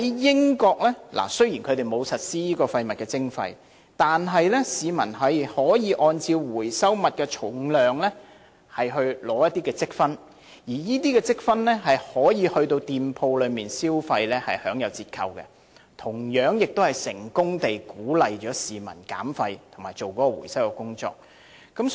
英國雖然沒有實施廢物徵費，但市民可以按照回收物的重量取得積分，而這些積分可以到某些店鋪消費時使用並享有折扣，同樣也可成功鼓勵市民減廢和進行回收工作。